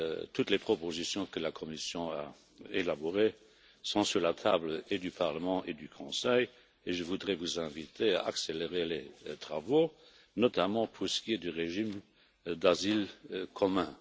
Toutes les propositions que la Commission a élaborées sont sur la table du Parlement et du Conseil et je voudrais vous inviter à accélérer les travaux, notamment pour ce qui est du régime d'asile commun.